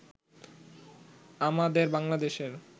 আমাদের বাংলাদেশের